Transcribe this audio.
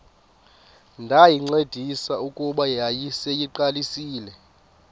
ndayincedisa kuba yayiseyiqalisile